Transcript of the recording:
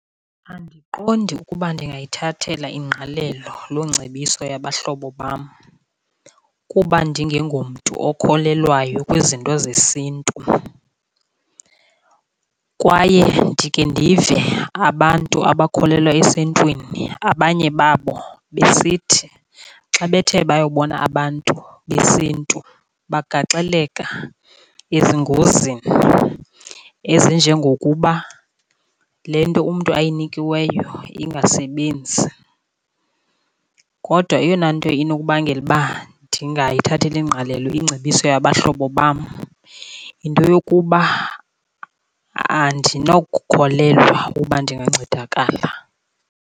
Andiqondi ukuba ndingayithathela ingqalelo loo ngcebiso yabahlobo bam, kuba ndingengomntu ukholelwayo kwizinto zesintu. Kwaye ndikhe ndive abantu abakholelwa esintwini abanye babo besithi xa bethe bayobona abantu besintu bagaxeleka ezingozini ezinjengokuba le nto umntu ayinikiweyo ingasebenzi. Kodwa eyona nto inokubangela uba ndingayithatheli ingqalelo ingcebiso yabahlobo bam yinto yokuba andinokukholelwa uba ndingancedakala.